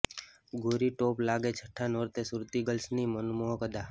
ગોરી top લાગેઃ છઠ્ઠા નોરતે સુરતી ગર્લ્સની મનમોહક અદા